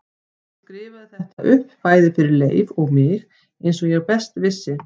Ég skrifaði þetta upp fyrir bæði Leif og mig eins og best ég vissi.